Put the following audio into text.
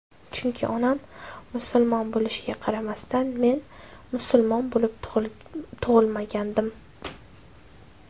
Chunki onam musulmon bo‘lishiga qaramasdan men musulmon bo‘lib tug‘ilmagandim.